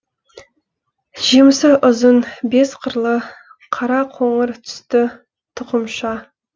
жемісі ұзын бес қырлы қара қоңыр түсті тұқымша